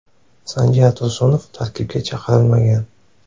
Sanjar Tursunov tarkibga chaqirilmagan.